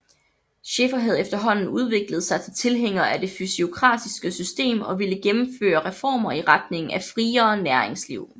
Scheffer havde efterhånden udviklet sig til tilhænger af det fysiokratiske system og ville gennemføre reformer i retning af friere næringsliv